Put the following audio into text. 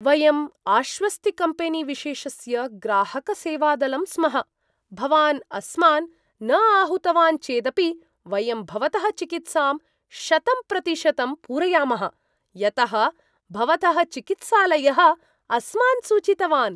वयं आश्वस्तिकम्पेनीविशेषस्य ग्राहकसेवादलं स्मः, भवान् अस्मान् न आहूतवान् चेदपि वयं भवतः चिकित्सां शतं प्रतिशतं पूरयामः। यतः भवतः चिकित्सालयः अस्मान् सूचितवान्।